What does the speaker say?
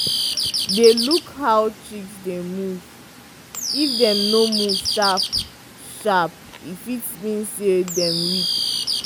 dey look how chicks dey move if dem no move sharp-sharp e fit mean say dem weak.